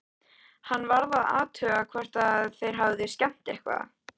Hann varð að athuga hvort þeir hefðu skemmt eitthvað.